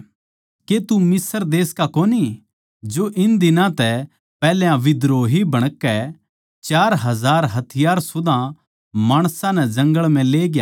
के तू मिस्र देश का कोनी जो इन दिनां तै पैहल्या बिद्रोही बणकै चार हजार हथियार सुदा माणसां नै जंगळ म्ह लेग्या